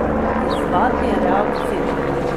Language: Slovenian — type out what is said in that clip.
Izzvati reakcijo?